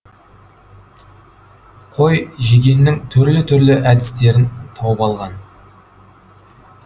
қой жегеннің түрлі түрлі әдістерін тауып алған